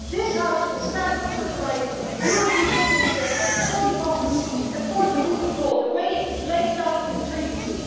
This House will stand up for the rights of European citizens, for democracy and for the rule of law, as it is laid down in the Treaties.